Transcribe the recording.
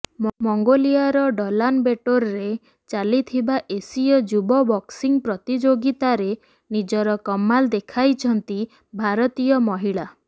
ମଙ୍ଗୋଲିଆର ଉଲାନବେଟୋରରେ ଚାଲିଥିବା ଏସିୟ ଯୁବ ବକ୍ସିଂ ପ୍ରତିଯୋଗିତାରେ ନିଜର କମାଲ ଦେଖାଇଛନ୍ତି ଭାରତୀୟ ମହିଳା